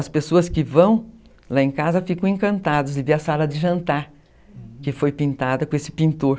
As pessoas que vão lá em casa ficam encantadas de ver a sala de jantar que foi pintada com esse pintor.